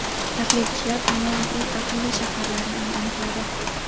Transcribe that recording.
Tahlilchilar dunyoning eng aqlli shaharlarini aniqladi.